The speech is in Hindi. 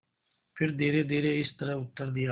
फिर धीरेधीरे इस तरह उत्तर दिया